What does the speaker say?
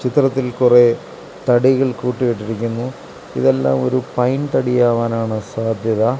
ചിത്രത്തിൽ കുറെ തടികൾ കൂട്ടി ഇട്ടിരിക്കുന്നു ഇതെല്ലാം ഒരു പൈൻ തടി ആവാനാണ് സാധ്യത.